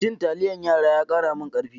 Cin taliyar yara ya kara min karfi.